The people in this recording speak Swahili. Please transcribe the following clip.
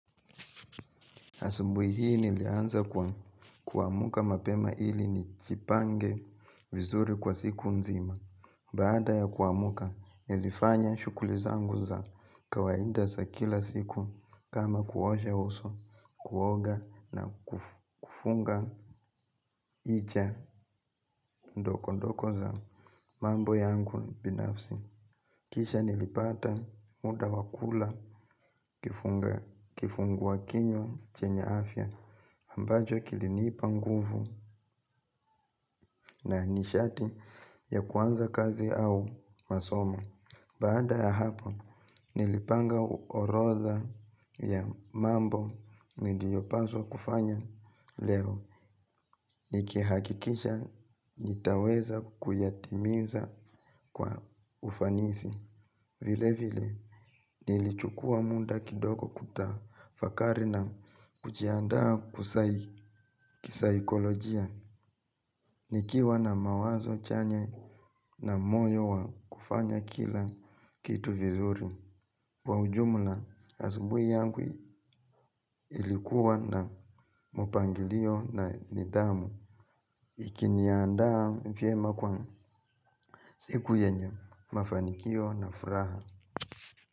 Asubuhi hii nilianza kwa kuamka mapema ili nijipange vizuri kwa siku nzima. Baada ya kuamka nilifanya shughuli zangu za kawaida za kila siku kama kuosha uso, kuoga na kufunga hija ndogo ndogo za mambo yangu binafsi. Kisha nilipata muda wa kula kifungua kinywa chenye afya ambacho kilinipa nguvu na nishati ya kuanza kazi au masomo. Baada ya hapa nilipanga orodha ya mambo niliyopaswa kufanya leo. Nikihakikisha nitaweza kuyatimiza kwa ufanisi. Vile vile nilichukua muda kidogo kutafakari na kujiandaa kisaikolojia. Nikiwa na mawazo chanya na moyo wa kufanya kila kitu vizuri. Kwa ujumla asubuhi yangu ilikuwa na mpangilio na nidhamu. Ikiniandaa vyema kwa siku yenye mafanikio na furaha.